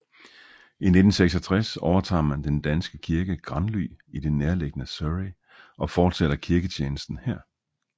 I 1966 overtager man den danske kirke Granly i det nærliggende Surrey og fortsætter kirketjenesten her